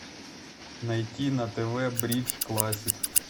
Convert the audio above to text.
найти на тв бридж классик